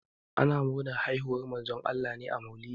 Ana murnar haihuwar Manzon Allah ne a maulidi.